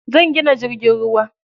Zan gina jirgin ruwa.